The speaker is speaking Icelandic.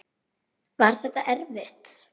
Var þetta erfitt?